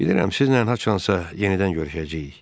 Bilirəm, sizlə haçansa yenidən görüşəcəyik.